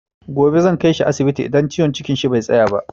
Gobe zan kaishi asibiti idan ciwon cikin shi bai tsaya ba.